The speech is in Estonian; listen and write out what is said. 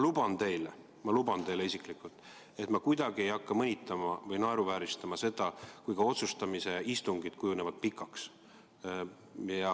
Ja ma luban teile isiklikult, et ma mitte kuidagi ei hakka mõnitama ega naeruvääristama seda, kui otsustamise istungid kujunevad pikaks.